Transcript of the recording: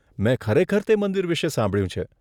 મેં ખરેખર તે મંદિર વિશે સાંભળ્યું છે.